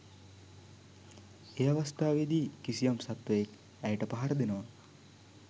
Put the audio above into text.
ඒ අවස්ථාවේදි කිසියම් සත්වයෙක් ඇයට පහර දෙනවා